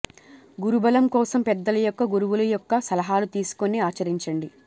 గురుబలం కోసం పెద్దల యొక్క గురువుల యొక్క సలహాలు తీసుకొని ఆచరించండి